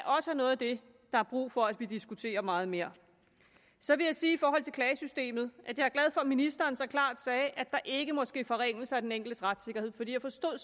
også er noget af det der er brug for at vi diskuterer meget mere så vil jeg sige i forhold til klagesystemet at jeg er glad for at ministeren så klart sagde at der ikke må ske forringelser af den enkeltes retssikkerhed for jeg forstod